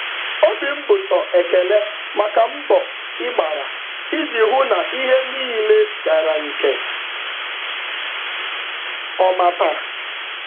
Obi m bụ sọ ekele maka mbọ ị gbara iji hụ na ihe niile gara nke ọma taa.